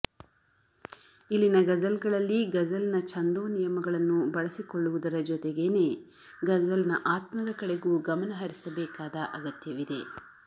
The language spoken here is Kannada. ಇಲ್ಲಿನ ಗಜಲ್ಗಳಲ್ಲಿ ಗಜಲ್ನ ಛಂದೋ ನಿಯಮಗಳನ್ನು ಬಳಸಿಕೊಳ್ಳುವುದರ ಜೊತೆಗೇನೆ ಗಜಲ್ನ ಆತ್ಮದ ಕಡೆಗೂ ಗಮನ ಹರಿಸಬೇಕಾದ ಅಗತ್ಯವಿದೆ